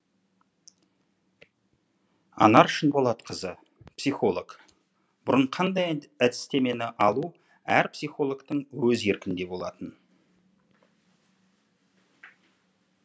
анар шынболатқызы психолог бұрын қандай әдістемені алу әр психологтың өз еркінде болатын